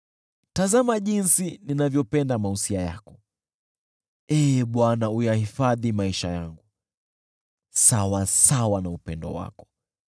Tazama jinsi ninavyopenda mausia yako; Ee Bwana , uyahifadhi maisha yangu, sawasawa na upendo wako.